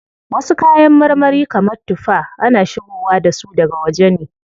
Wasu kayan marmari kamar tuffa, ana shigowa dasu daga waje ne.